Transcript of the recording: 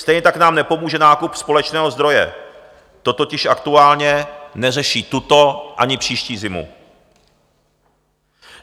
Stejně tak nám nepomůže nákup společného zdroje, to totiž aktuálně neřeší tuto ani příští zimu.